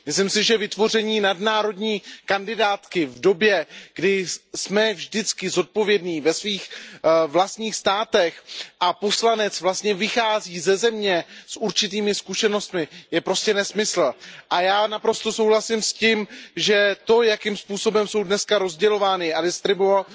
Myslím si, že vytvoření nadnárodní kandidátky v době, kdy jsme vždycky zodpovědní ve svých vlastních státech a poslanec vlastně vychází ze země s určitými zkušenostmi, je prostě nesmysl a já naprosto souhlasím s tím, že to, jakým způsobem jsou dneska rozdělována a distribuována